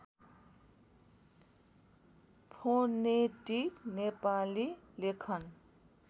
phonetic Nepali लेखन